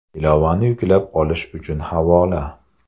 Ilovani yuklab olish uchun havola: .